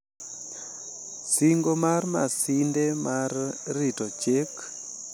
Singo mar Masinde mar rito Chik Maduong' kendo tiyo ne bero mar ji duto